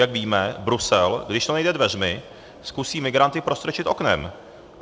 Jak víme, Brusel, když to nejde dveřmi, zkusí migranty prostrčit oknem.